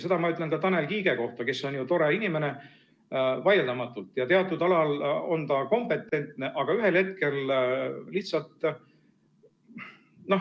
Seda ma ütlen ka Tanel Kiige kohta, kes on tore inimene, vaieldamatult, teatud alal on ta kompetentne, aga ühel hetkel lihtsalt ...